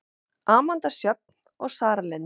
Amanda Sjöfn og Sara Lind.